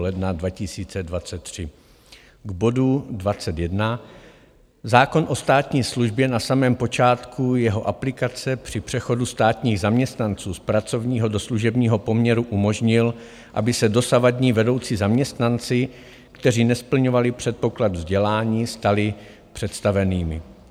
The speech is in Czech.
K bodu 21: zákon o státní službě na samém počátku jeho aplikace při přechodu státních zaměstnanců z pracovního do služebního poměru umožnil, aby se dosavadní vedoucí zaměstnanci, kteří nesplňovali předpoklad vzdělání, stali představenými.